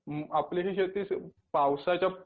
आपली जे शेती पावसाच्या